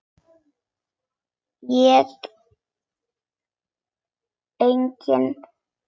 Ég nefni engin nöfn.